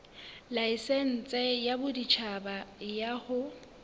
laesense ya boditjhaba ya ho